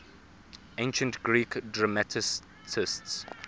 ancient greek dramatists